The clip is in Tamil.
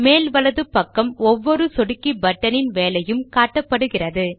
மேல் வலது பக்கம் ஒவ்வொரு சொடுக்கி பட்டனின் வேலையும் காட்டப்படுகிறது